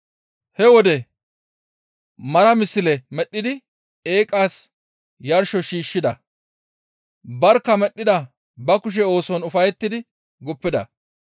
He wode mara misle medhdhidi eeqas yarsho shiishshida; barkka medhdhida ba kushe ooson ufayettidi guppida.